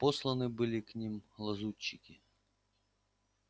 посланы были к ним лазутчики